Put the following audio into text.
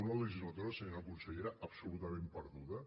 una legislatura senyora consellera absolutament perduda